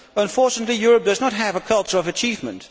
Unfortunately, Europe does not have a culture of achievement.